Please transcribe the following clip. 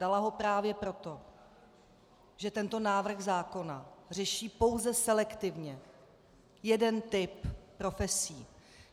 Dala ho právě proto, že tento návrh zákona řeší pouze selektivně jeden typ profesí.